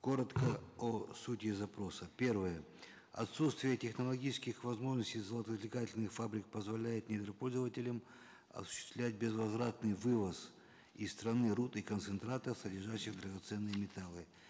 коротко о сути запроса первое отсутствие технологических возможностей золотоизвлекательных фабрик позволяет недропользователям осуществлять безвозвратный вывоз из страны руд и концентратов содержащих драгоценные металлы